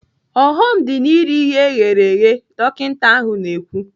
"ọghọm dị n'iri ihe eghere eghe." Dọkinta ahụ na-ekwu.